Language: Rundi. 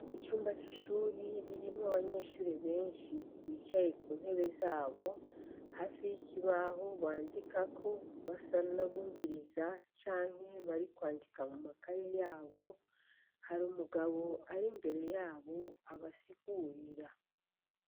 Icumba c'ishuri ririmwo abanyeshuri benshi bicaye ku ntebe zabo hafi y'ikibaho bandikako basanabumviriza canke bari kwandika mu maka ye yabo hari umugabo ari imbere yabo abasigurira.